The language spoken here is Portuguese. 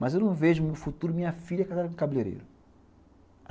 Mas eu não vejo no futuro minha filha casada com cabeleireiro.